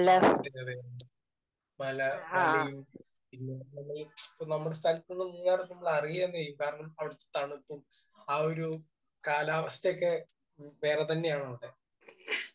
ആഹ്. അതന്നെ. അതെ. മല. മലയും പിന്നെ ഇപ്പം നമ്മുടെ സ്ഥലത്തുന്ന് മൂന്നാർ എത്തുമ്പോൾ നമ്മൾ അറിയുക തന്നെ ചെയ്യും. കാരണം അവിടുത്തെ തണുപ്പും ആ ഒരു കാലാവസ്ഥയുമൊക്കെ വേറെതന്നെയാണ് അവിടെ.